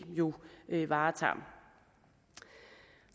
jo varetager